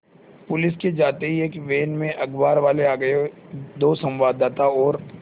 police के जाते ही एक वैन में अखबारवाले आ गए दो संवाददाता और